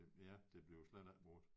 Det ja det bliver slet ikke brugt